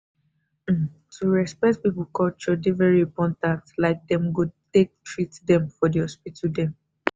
um to dey respect people culture dey very important like them go take treat dem for the hospital dem.